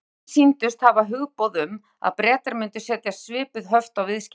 Flestir sýndust hafa hugboð um, að Bretar myndu setja svipuð höft á viðskipti